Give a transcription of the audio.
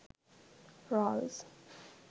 rolls